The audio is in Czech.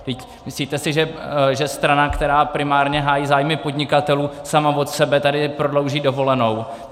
Myslíte si, že strana, která primárně hájí zájmy podnikatelů, sama od sebe tady prodlouží dovolenou?